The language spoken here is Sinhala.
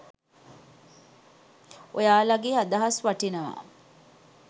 ඔයාලාගේ අදහස් වටිනවා.